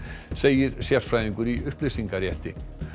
segir sérfræðingur í upplýsingarétti